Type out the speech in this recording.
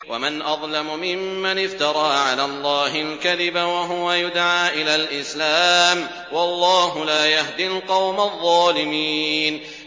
وَمَنْ أَظْلَمُ مِمَّنِ افْتَرَىٰ عَلَى اللَّهِ الْكَذِبَ وَهُوَ يُدْعَىٰ إِلَى الْإِسْلَامِ ۚ وَاللَّهُ لَا يَهْدِي الْقَوْمَ الظَّالِمِينَ